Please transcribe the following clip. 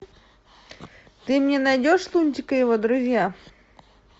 ты мне найдешь лунтик и его друзья